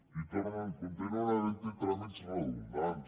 i continuen havent hi tràmits redundants